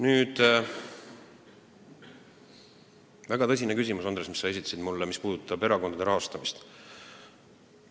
Nüüd, Andres, sellest sinu esitatud väga tõsisest küsimusest, mis puudutab erakondade rahastamist.